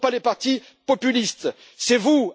Ce ne sont pas les partis populistes, c'est vous!